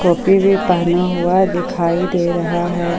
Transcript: टोपी भी पहना हुआ दिखाई दे रहा है ।